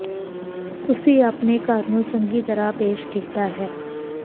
ਤੁਸੀਂ ਆਪਣੇ ਘਰ ਨੂੰ ਚੰਗੀ ਤਰ੍ਹਾਂ ਪੇਸ਼ ਕੀਤਾ ਹੈ